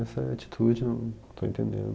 Essa atitude, eu não estou entendendo.